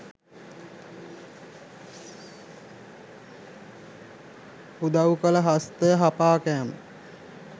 උදව් කළ හස්තය හපා කෑම